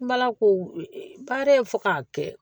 Baara in fɔ k'a kɛ